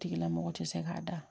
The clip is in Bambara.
Tigilamɔgɔ tɛ se k'a da